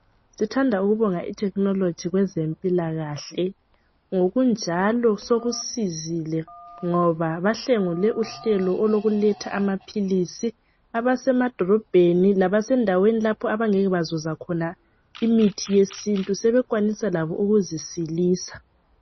sithanda ukubonga ithekhinoloji kwezempila kahle ngokunjalo sokusizile ngoba bahlengule uhlelo lokuletha amaphilizi abase madolobheni labasendaweni lapha abangeke bazuza khona imithi yesintu sebekwanisa labo ukuzisilisa